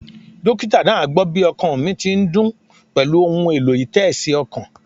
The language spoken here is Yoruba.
Dókítà náà gbó bí ọkàn mi ti ń dún pèlú ohun èlò-ìtésí okàn